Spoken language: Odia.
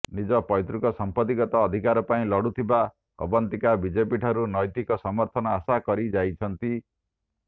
ନିଜ ପୈତୃକ ସଂପତ୍ତିଗତ ଅଧିକାର ପାଇଁ ଲଢ଼ୁଥିବା ଅବନ୍ତିକା ବିଜେପିଠାରୁ ନୈତିକ ସମର୍ଥନ ଆଶା କରି ଯାଇଛନ୍ତି